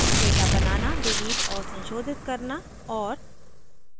data बनाना delete और संशोधित करना और